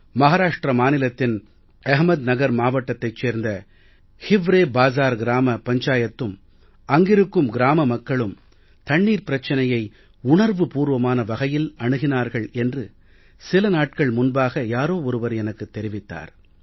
மஹாராஷ்ட்ர மாநிலத்தின் அஹமத்நகர் மாவட்டத்தைச் சேர்ந்த ஹிவ்ரே பாஜார் கிராம பஞ்சாயத்தும் அங்கிருக்கும் கிராம மக்களும் தண்ணீர் பிரச்சனையை உணர்வுபூர்வமான வகையில் அணுகினார்கள் என்று சில நாட்கள் முன்பாக யாரோ ஒருவர் எனக்குத் தெரிவித்தார்